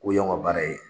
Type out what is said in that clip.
K'o y'anw ka baara ye